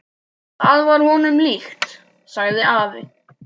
Það var honum líkt, sagði afi.